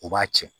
U b'a cɛn